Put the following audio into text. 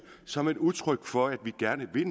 som et udtryk for at vi gerne vil